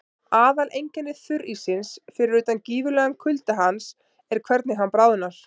Aðaleinkenni þurríssins, fyrir utan gífurlegan kulda hans, er hvernig hann bráðnar.